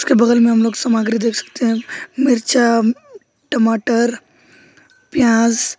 इसके बगल में हम लोग सामग्री देख सकते हैं मिर्च टमाटर प्याज--